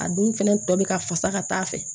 A dun fɛnɛ tɔ be ka fasa ka taa fɛ